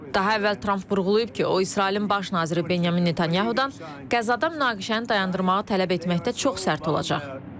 Daha əvvəl Tramp vurğulayıb ki, o, İsrailin Baş naziri Benyamin Netanyahu-dan Qəzada münaqişəni dayandırmağı tələb etməkdə çox sərt olacaq.